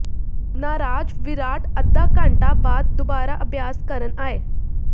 ਨਾਰਾਜ਼ ਵਿਰਾਟ ਅੱਧਾ ਘੰਟਾ ਬਾਅਦ ਦੁਬਾਰਾ ਅਭਿਆਸ ਕਰਨ ਆਏ